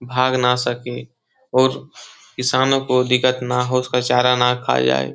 भाग ना सके और किसानों को दिक्कत ना हो उसका चारा ना खा जाए।